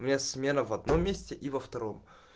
у меня смена в одном месте и во втором